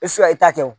e ta tɛ wo